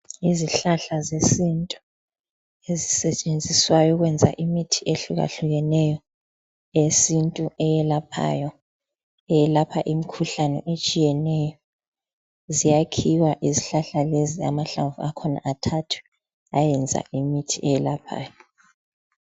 Izihlahla zesintu ezisetshenziswayo ukwenza imithi ehlukahlukeneyo yesintu eyelaphayo, iyelapha imikhuhlane etshiyeneyo ziyakhiwa izihlahla lezi lamahlamvu akhona athathwe ayeyenza imithi eyelaphayo.